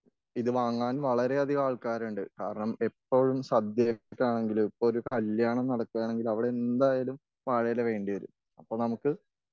ഇത് വാങ്ങാൻ വളരെയധികം ആൾക്കാരുണ്ട്.കാരണം എപ്പഴും സദ്യക്കാണെങ്കിലും ഒരു കല്യാണം നടക്കാണെങ്കിൽ അവിടെ എന്തായാലും വാഴയില വേണ്ടി വരും.അപ്പൊ നമ്മുക്ക്